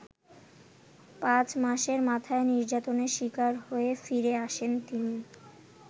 পাঁচ মাসের মাথায় নির্যাতনের শিকার হয়ে ফিরে আসেন তিনি।